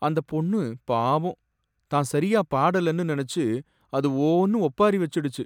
அந்தப் பொண்ணு பாவம்! தான் சரியா பாட்டு பாடலனு நினைச்சு அது ஓன்னு ஒப்பாரி வச்சிடுச்சு